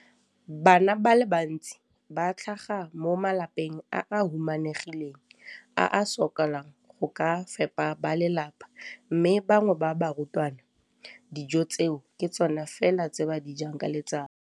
Bana ba le bantsi ba tlhaga mo malapeng a a humanegileng a a sokolang go ka fepa ba lelapa mme ba bangwe ba barutwana, dijo tseo ke tsona fela tse ba di jang ka letsatsi.